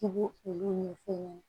I b'olu ɲɛ fin